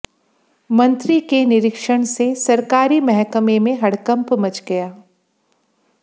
मंत्री के निरीक्षण सरकारी महकमे में हड़कंप मंच गया